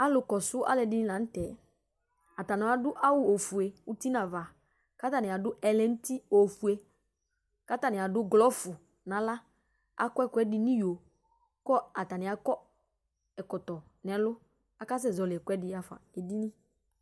alo kɔso aloɛdini lantɛ atani ado awu ofue uti n'ava ko atani ado ɛlɛnuti ofue k'atani ado glɔv n'ala akɔ ɛkoɛdi n'iyo ko atani akɔ ɛkɔtɔ n'ɛlò aka sɛ zɔli ɛkoɛdi ya'fa edini